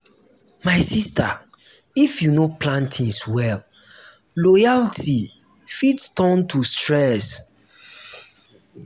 my sista if you no plan tins well loyalty fit turn to stress.